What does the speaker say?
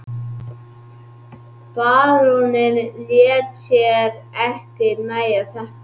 Baróninn lét sér ekki nægja þetta.